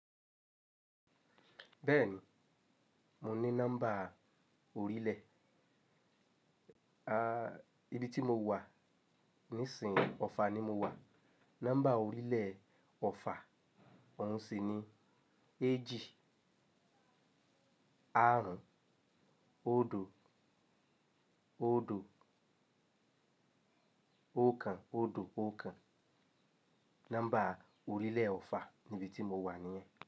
Bẹ́ẹ̀ni, mo ní nọ́mbà orílẹ̀. A, ibi tí mo wà nísin ọ̀fà ni mo wà. Nọ́mbà orílẹ̀ ọ̀fà ọ̀ún sí ní ẹéjì, àrún, óòdó óòdó, óòkan óòdó óòkan. Nọ́mbà orílẹ̀ ọ̀fà ní ibi tí mo wà níyẹn.